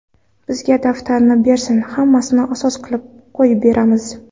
Bizga daftarni bersin, hammasini asos qilib qo‘yib beramiz.